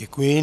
Děkuji.